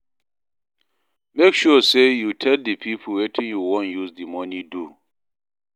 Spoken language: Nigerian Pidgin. Make sure say you tell di pipo wetin you won use di money do